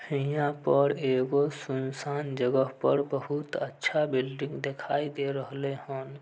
हीया पर एगो सुनसान जगह पर बहुत अच्छा बिल्डिंग देखाई दे रहले हेन।